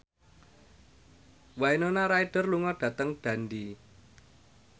Winona Ryder lunga dhateng Dundee